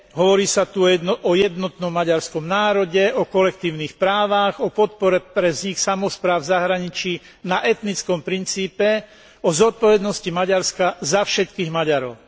Hovorí sa tu o jednotnom maďarskom národe, o kolektívnych právach, o podpore ich samospráv v zahraničí na etnickom princípe, o zodpovednosti Maďarska za všetkých Maďarov.